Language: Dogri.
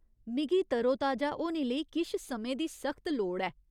मिगी तरोताजा होने लेई किश समें दी सख्त लोड़ ऐ।